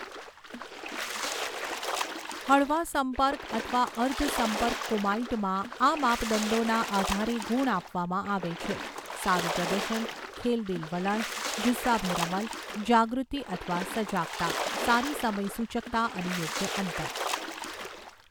હળવા સંપર્ક અથવા અર્ધ સંપર્ક કુમાઈટમાં, આ માપદંડોના આધારે ગુણ આપવામાં આવે છે, સારું પ્રદર્શન, ખેલદિલ વલણ, જુસ્સાભેર અમલ, જાગૃતિ અથવા સજાગતા, સારી સમય સુચકતા અને યોગ્ય અંતર